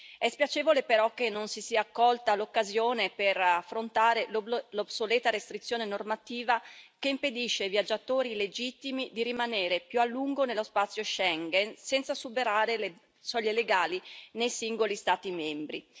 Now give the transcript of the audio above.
È spiacevole che non si sia colta l'occasione per affrontare l'obsoleta restrizione normativa che impedisce ai viaggiatori legittimi di rimanere più a lungo nello spazio Schengen senza superare le soglie legali nei singoli Stati membri.